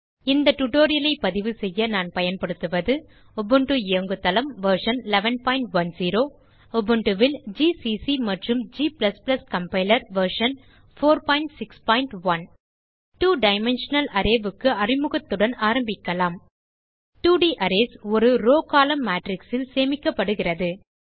இந்த டியூட்டோரியல் ஐ பதிவுசெய்ய நான் பயன்படுத்துவது உபுண்டு இயங்கு தளம் வெர்ஷன் 1110 உபுண்டு ல் ஜிசிசி மற்றும் g கம்பைலர் வெர்ஷன் 461 2 டைமென்ஷனல் Arrayக்கு அறிமுகத்துடன் ஆரம்பிக்கலாம் 2 ட் அரேஸ் ஒரு ரோவ் கோலம்ன் மேட்ரிக்ஸ் ல் சேமிக்கப்படுகிறது